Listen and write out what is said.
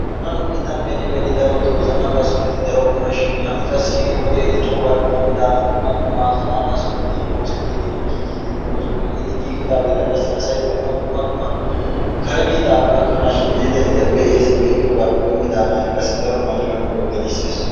Hagaa nu biittan beni beni darotto zanaqqa sohoti darokkonashin ha'i qassi wode diccoogappe dommodaagan dumma dumma zanaqqa sohoti oosettidenne giigidi de'oosona. Hegeeti giigidaageeta qassi asay be'anaw dumma dumma kare biittappe gakkanashin yiidi eta be'essi. Be'idoogappe doommidaagan qassi daro marccuwa nuuyo gelissees.